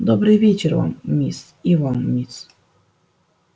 добрый вечер вам мисс и вам мисс